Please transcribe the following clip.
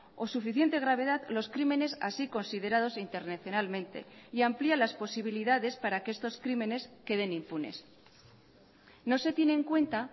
o suficiente gravedad los crímenes así considerados internacionalmente y amplía las posibilidades para que estos crímenes queden impunes no se tiene en cuenta